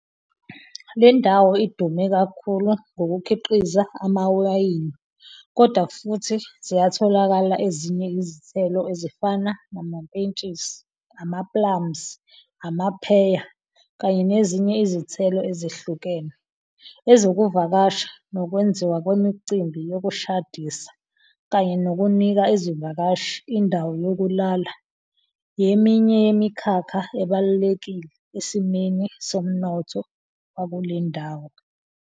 Lendawo idume kakhulu ngokukhiqiza amawayini kodwa futhi ziyatholakala ezinye izithelo ezifana namapentshisi, amaplums, amapheya kanye nezinye izithelo ezehlukene. Ezokuvakasha, nokwenziwa kwemicimbi yokushadisa kanye nokunika izivakashi indawo yokulala yeminye yemikhakha ebalulekile esimeni somnotho wakulendawo.